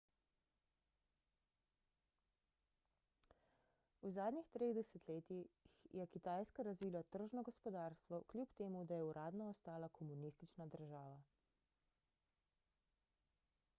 v zadnjih treh desetletjih je kitajska razvila tržno gospodarstvo kljub temu da je uradno ostala komunistična država